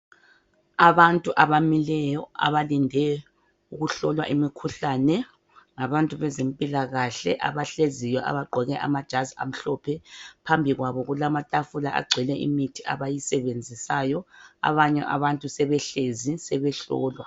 Abantu abamileyo abalinde ukuhlolwa imikhuhlane ngabantu bezempilakahle abahleziyo abaqoke amajazi amhlophe. Phambi kwabo kulamatafula agcwele imithi abayisebenzisayo. Abanye abantu sebehlezi sebehlolwa.